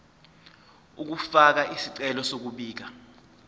ukufaka isicelo sokubika